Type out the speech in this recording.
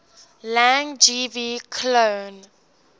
lang gv cloan